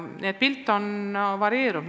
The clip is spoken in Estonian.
Seega pilt on varieeruv.